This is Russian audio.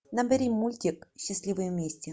набери мультик счастливы вместе